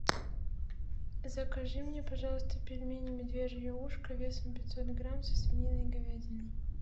закажи мне пожалуйста пельмени медвежье ушко весом пятьсот грамм со свининой и говядиной